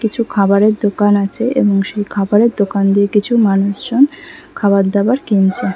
কিছু খাবারের দোকান আছে এবং সেই খাবারের দোকান দিয়ে কিছু মানুষজন খাবার দাবার কিনছে ।